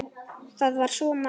Það var svo margt.